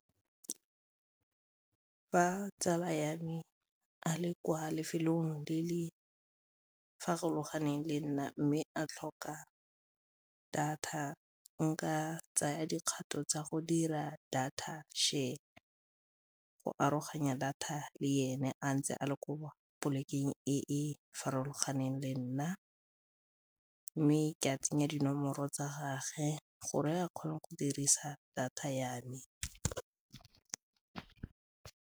Fa tsala ya me a le kwa lefelong le le farologaneng le nna mme a tlhoka data, nka tsaya dikgato tsa go dira data share, go aroganya data le ene a ntse a le ko polekeng e e farologaneng le nna mme ke a tsenya dinomoro tsa gage gore a kgone go dirisa data ya me.